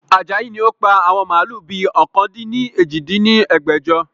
Ajayi ni ó pa àwọn màálù bi ọ̀kan-dín-ní-ojì dín ní ẹgbẹ́jọ